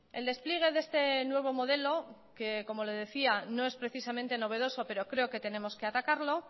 el despliegue de este nuevo modelo que como le decía no es precisamente novedoso pero creo que tenemos que atacarlo